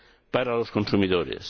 para los consumidores.